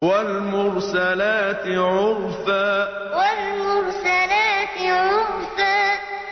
وَالْمُرْسَلَاتِ عُرْفًا وَالْمُرْسَلَاتِ عُرْفًا